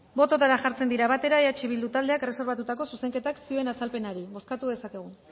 botoetara jartzen dira batera eh bildu taldeak erreserbatutako zuzenketak zioen azalpenari bozkatu dezakegu